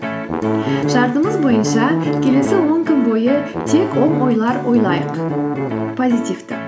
шартымыз бойынша келесі он күн бойы тек оң ойлар ойлайық позитивті